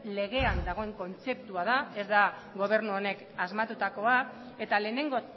legean dagoen kontzeptua da ez da gobernu honek asmatutakoa eta lehenengo